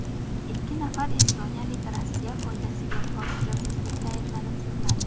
Ikki nafar estoniyalik Rossiya foydasiga josuslikda ayblanib, sudlandi.